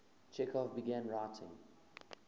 chekhov began writing